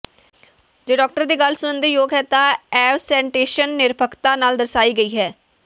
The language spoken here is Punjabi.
ਜੇ ਡਾਕਟਰ ਦੀ ਗੱਲ ਸੁਣਨ ਦੇ ਯੋਗ ਹੈ ਤਾਂ ਅਵਸੈਂਟੇਸ਼ਨ ਨਿਰਪੱਖਤਾ ਨਾਲ ਦਰਸਾਈ ਗਈ ਹੈ